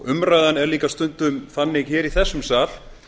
umræðan er líka stundum þannig hér í þessum sal